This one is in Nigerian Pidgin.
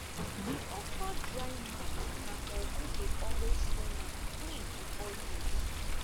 di okra drying mat na for who dey always sun am clean before use